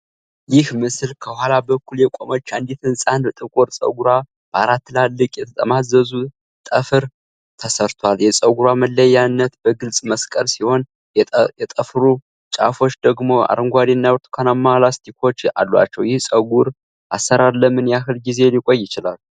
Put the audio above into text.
ይህ ምስል ከኋላ በኩል የቆመች አንዲት ህፃን ጥቁር ፀጉሯ በአራት ትላልቅ የተጠማዘዙ ጠፍር (twists) ተሰርቷል። የፀጉሯ መለያየት በግልጽ መስቀል ሲሆን፣ የጠፍሩ ጫፎች ደግሞ አረንጓዴና ብርቱካናማ ላስቲኮች አሏቸው፤ ይህ የፀጉር አሰራር ለምን ያህል ጊዜ ሊቆይ ይችላል?